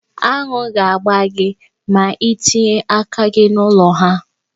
Aṅụ ga-agba gi ma itinye aka gị n'ụlọ ha.